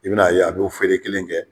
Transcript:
I bɛn'a ye a b'o feere kelen kɛ